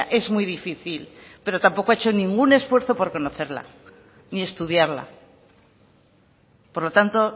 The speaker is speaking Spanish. es muy difícil pero tampoco ha hecho ningún esfuerzo por conocerla ni estudiarla por lo tanto